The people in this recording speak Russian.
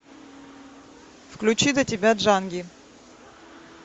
включи до тебя джанги